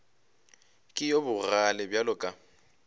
ke yo bogale bjalo ka